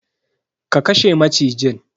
Ka kashe macijin.